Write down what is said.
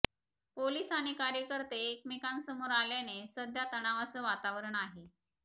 police आणि कार्यकर्ते एकमेकांसमोर आल्याने सध्या तणावाचं वातावरण आहे